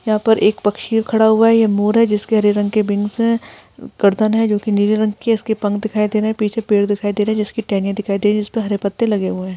यहाँ पे एक पक्षी खड़ा हुआ है ये मोर है जिसके हरे रंग के विंग्स है गर्दन है जो कि नीले रंग कि है इसके पंख दिखाई दे रहे है पीछे पेड़ दिखाई दे रहे है जिसकी टहनिया दिखाई दे रही है जिसपे हरे पत्ते लगे हुए है।